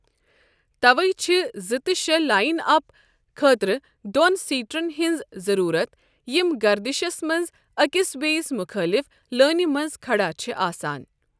تَوَے چھِ زٕ تہِ شٛے لاین اپ خٲطرٕ دۄن سیٹرن ہنٛز ضروٗرَت یِم گردِشس منٛز أکس بیٚیس مُخٲلف لٲنہِ منٛز کھڑا چھِ آسان۔